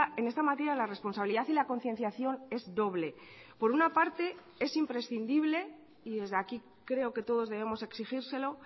en esta materia la responsabilidad y la concienciación es doble por una parte es imprescindible y desde aquí creo que todos debemos exigírselo